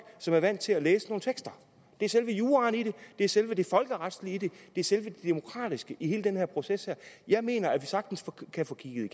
som er vant til at læse nogle tekster det er selve juraen i det det er selve det folkeretlige i det det er selve det demokratiske i hele den her proces jeg mener at vi sagtens kan få kigget